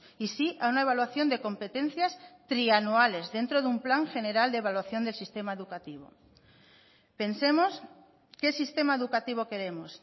y sí a una evaluación de competencias trianuales dentro de un plan general de evaluación del sistema educativo pensemos qué sistema educativo queremos